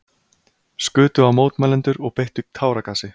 Skutu á mótmælendur og beittu táragasi